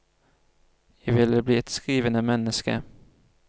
Jeg ville bli et skrivende menneske.